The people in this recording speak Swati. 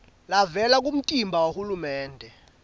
levela kumtimba wahulumende